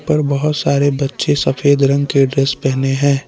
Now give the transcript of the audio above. पर बहोत सारे बच्चे सफेद रंग के ड्रेस पहने है।